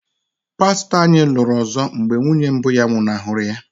pastọ anyị lụrụ ọzọ mgbe nwunye mbụ ya nwụnahụrụ ya.